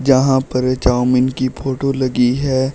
यहां पर ए चाऊमीन की फोटो लगी है।